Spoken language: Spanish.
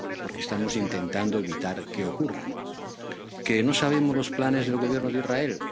ahora? Porque estamos intentando evitar que ocurra. ¿Que no sabemos los planes del Gobierno de